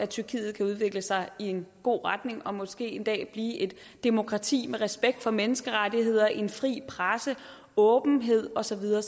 tyrkiet kan udvikle sig i en god retning og måske en dag blive et demokrati med respekt for menneskerettigheder en fri presse åbenhed og så videre